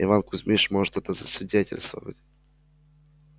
иван кузьмич может это засвидетельствовать